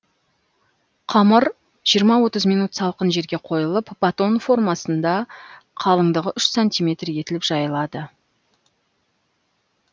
қамыр жиырма отыз минут салқын жерге қойылып батон формасында қалыңдығы үш сантиметр етіліп жайылады